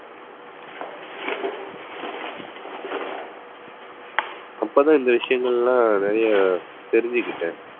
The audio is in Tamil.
அப்பதான் இந்த விஷயங்கள் எல்லாம் நிறைய தெரிஞ்சுகிட்டேன்.